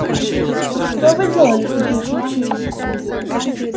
что вы делали в таких случаях